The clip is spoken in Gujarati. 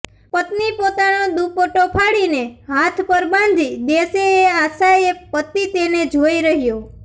પત્ની પોતાનો દુપટ્ટો ફાડીને હાથ પર બાંધી દેશે એ આશાએ પતિ તેને જોઈ રહ્યો